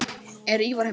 Er Ívar heima?